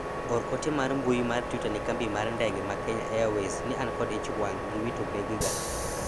or ote mar mbui mar twita ne kambi mar ndege mar kenya airways ni an kod ich wang' giwito bege ga